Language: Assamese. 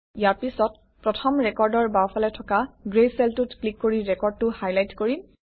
ইয়াৰ পিছত প্ৰথম ৰেকৰ্ডৰ বাওঁফালে থকা গ্ৰে চেলটোত ক্লিক কৰি ৰেকৰ্ডটো হাইলাইট কৰিম